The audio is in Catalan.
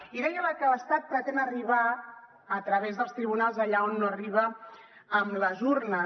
i deia que l’estat pretén arribar a través dels tribunals allà on no arriba amb les urnes